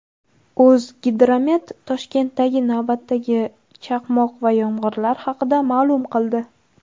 "O‘zgidromet" Toshkentdagi navbatdagi chaqmoq va yomg‘irlar haqida ma’lum qildi.